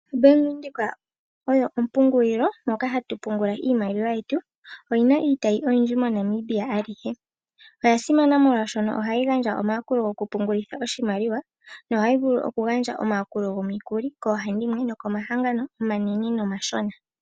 OBank Windhoek oyo ompungulilo moka hatu pungula iimaliwa yetu. Oyina iitayi oyindji MoNamibia alihe. Oyasimana molwaashono ohayi gandja omayakulo gokupungulitha oshimaliwa, nohayi vulu okugandja omayakulo gomukuli koohandimwe nokomahangano omanene nomashona.